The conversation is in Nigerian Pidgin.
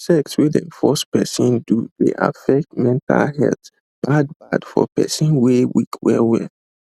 sex wey them dey force person do dey affect mental health bad bad for person wey weak well well